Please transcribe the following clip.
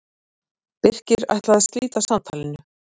Birkir ætlaði að slíta samtalinu.